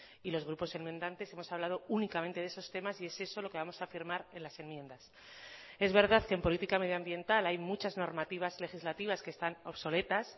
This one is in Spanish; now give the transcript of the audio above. y los grupos enmendantes hemos hablado únicamente de esos temas y es eso lo que vamos a firmar en las enmiendas es verdad que en política medioambiental hay muchas normativas legislativas que están obsoletas